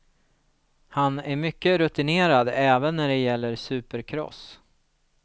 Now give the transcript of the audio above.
Han är mycket rutinerad, även när det gäller supercross.